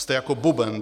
Jste jako buben.